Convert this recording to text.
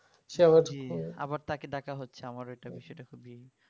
জি আবার তাকে ডাকা হচ্ছে আমার ওইটা বিষয় টা খুবই